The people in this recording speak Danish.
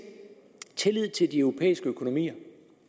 tillid til de europæiske økonomier